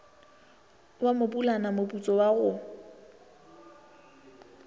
wa mopulana moputso wa go